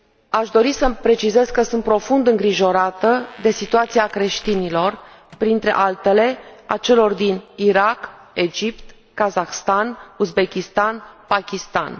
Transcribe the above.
Aș dori să precizez că sunt profund îngrijorată de situația creștinilor, printre altele, a celor din Irak, Egipt, Kazahstan, Uzbekistan, Pakistan.